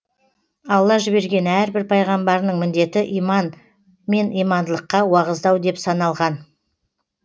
алла жіберген әрбір пайғамбарының міндеті иман мен имандылыққа уағыздау деп саналған